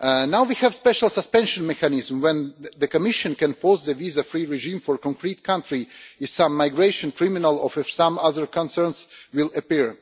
Now we have a special suspension mechanism, when the Commission can pause a visa free regime for a concrete country if some migration criminal or some other concerns will appear.